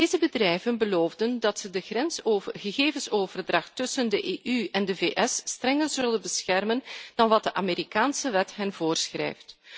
Deze bedrijven beloofden dat ze de gegevensoverdracht tussen de EU en de VS strenger zullen beschermen dan wat de Amerikaanse wet hen voorschrijft.